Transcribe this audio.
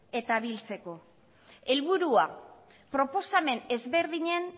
eta biltzeko helburua proposamen ezberdinen